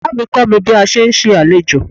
Ìyá mi kọ́ mi bí a sé ń ṣe àlejò.